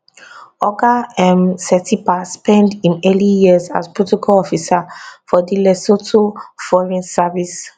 oga um setipa spend im early years as protocol officer for di lesotho foreign service